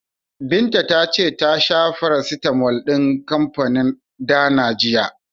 Binta ta ce ta sha farasitamol din kanfanin Dana jiya.